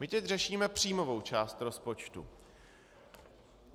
My teď řešíme příjmovou část rozpočtu.